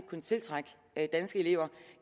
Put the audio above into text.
kunne tiltrække danske elever